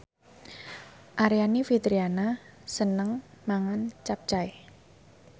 Aryani Fitriana seneng mangan capcay